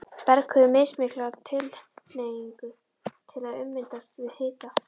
Berg hefur mismikla tilhneigingu til að ummyndast við hita.